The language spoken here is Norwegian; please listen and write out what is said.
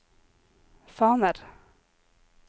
faner